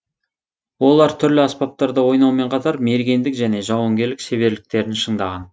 олар түрлі аспаптарда ойнаумен қатар мергендік және жауынгерлік шеберліктерін шыңдаған